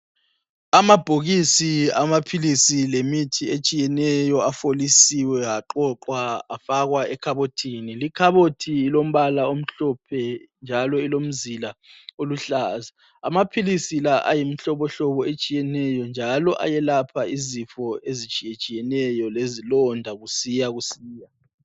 Amabhokisi amaphilisi lemithi etshiyeneyo afolisiwe aqoqwa afakwa ekhabothini likhabothi lombala omhlophe njalo ilomzila oluhlaza amaphilisi la ayimihlobohlobo etshiyatshiyeneyo njalo ayelapha izifo ezitshiyeneyo lezilonda kusiya kusiya